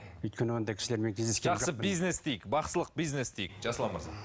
өйткені ондай кісілермен жақсы бизнес дейік бақсылық бизнес дейік жасұлан мырза